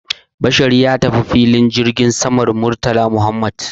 Bashar ya tafi filin jirgin saman Murtala Muhammad